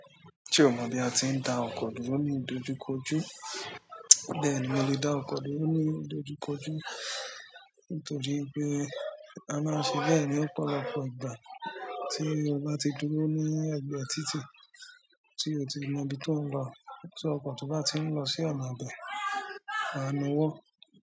Ṣé o mọ bí a ti ń dá ọkọ dúró ní ìdojúkọjú? Bẹ́ẹ̀ ni, mo lè dá ọkọ dúró ní ìdojúkọjú nítorí pé a máa ń ṣe bẹ́ẹ̀ ní ọ̀pọ̀lọpọ̀ ìgbà tí o bá ti dúró ní ẹ̀gbẹ́ títì tí o ti mọ ibi tó ń lọ, tí ọkọ̀ tó bá ti ń lọ sí ọ̀nà bẹ́ẹ̀, a na owọ́.